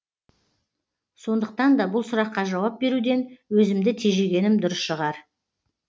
сондықтан да бұл сұраққа жауап беруден өзімді тежегенім дұрыс шығар